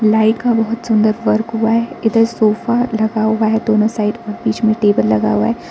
Light का बहोत सुंदर वर्क हुआ है इधर सोफा लगा हुआ है दोनों साइड में बीच में टेबल लगा हुआ है।